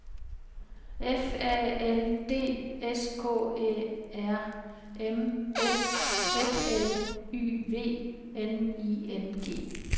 F A L D S K Æ R M S F L Y V N I N G